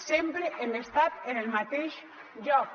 sempre hem estat en el mateix lloc